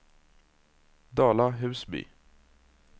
Dala-Husby